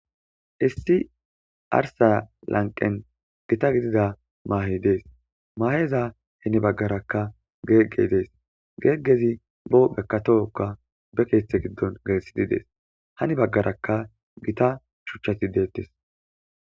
Issi arssa lanqqen gita gidida maheyi deess maheza heni baggara geggeyi deesi geggezi be huphenne toho bekeththe gido gelisidi deesi Hani bagaraka gita huchaati dettees.